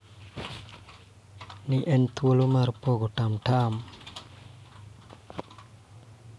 Ne en thuolo mar pogo tamtam.